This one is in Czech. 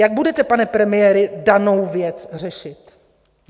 Jak budete, pane premiére, danou věc řešit?